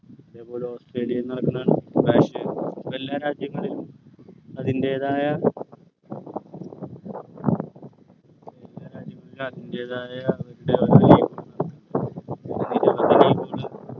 അതേപോലെ ഓസ്‌ട്രേലിയയിൽ നടക്കുന്ന എല്ലാ രാജ്യങ്ങളിലും അതിൻ്റെതായ എല്ലാ രാജ്യങ്ങളിലും അതിൻ്റെതായ